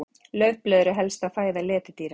Laufblöð eru helsta fæða letidýra.